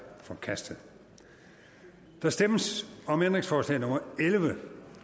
forkastet der stemmes om ændringsforslag nummer elleve